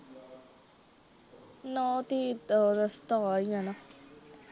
ਨਾ ਠੀਕ ਤੇ ਰਸਤਾ ਆ ਹੀ ਜਾਣਾ।